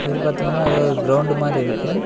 இது பாத்தீங்கனா எதோ ஒரு கிரவுண்ட்டு மாரி இருக்கு.